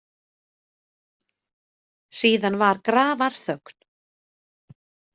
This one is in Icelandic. Síðan var grafarþögn.